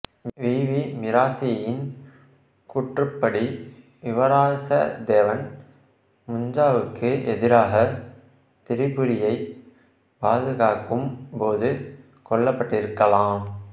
we V மிராசியின் கூற்றுப்படி யுவராசதேவன் முஞ்சாவுக்கு எதிராக திரிபுரியைப் பாதுகாக்கும் போது கொல்லப்பட்டிருக்கலாம்